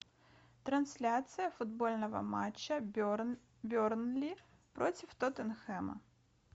трансляция футбольного матча бернли против тоттенхэма